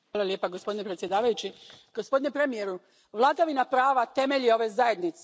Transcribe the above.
Poštovani predsjedavajući, gospodine premijeru, vladavina prava temelj je ove zajednice.